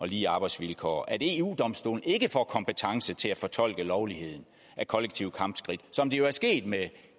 lige arbejdsvilkår at eu domstolen ikke får kompetence til at fortolke lovligheden af kollektive kampskridt som det jo er sket med